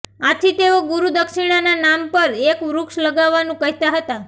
આથી તેઓ ગુરૂ દક્ષિણાના નામ પર એક વૃક્ષ લગાવાનું કહેતા હતા